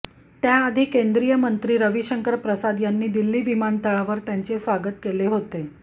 त्याआधी केंद्रीय मंत्री रविशंकर प्रसाद यांनी दिल्ली विमानतळावर त्यांचे स्वागत केले होते